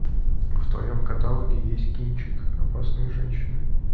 в твоем каталоге есть кинчик опасные женщины